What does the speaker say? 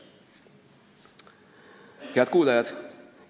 Austatud kuulajad!